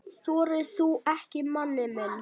Þorir þú ekki, manni minn?